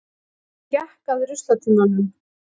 Hann gekk að ruslatunnunum.